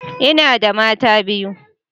Ina da mata biyu.